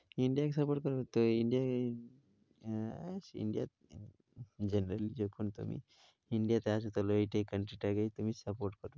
India কে support করবে তো? India এই আহ India India তে আছো তাহলে এইটাই, country টাকেই তুমি support